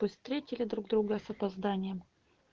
пусть встретили друг друга с опозданием